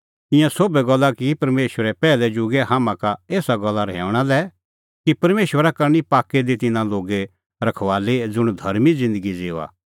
ईंयां सोभै गल्ला की परमेशरै पैहलै जुगै हाम्हां का एसा गल्ला रहैऊंणा लै कि परमेशरा करनी पाक्कै दी तिन्नां लोगे रखबाली ज़ुंण धर्मीं ज़िन्दगी ज़िऊआ